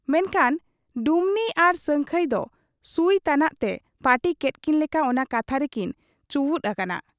ᱢᱮᱱᱠᱷᱟᱱ ᱰᱩᱢᱱᱤ ᱟᱨ ᱥᱟᱹᱝᱠᱷᱟᱹᱭ ᱫᱚ ᱥᱩᱭ ᱛᱟᱱᱟᱜᱛᱮ ᱯᱟᱹᱴᱤ ᱠᱮᱫ ᱠᱤᱱ ᱞᱮᱠᱟ ᱚᱱᱟ ᱠᱟᱛᱷᱟ ᱨᱮᱠᱤᱱ ᱪᱩᱭᱩᱸᱫ ᱟᱠᱟᱱᱟ ᱾